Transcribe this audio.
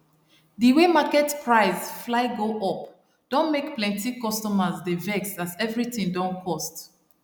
d way market price fly go up don make plenty customers dey vex as everything don cost